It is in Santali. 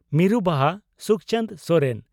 ᱢᱤᱨᱩ ᱵᱟᱦᱟ (ᱥᱩᱠᱪᱟᱱᱫᱽ ᱥᱚᱨᱮᱱ)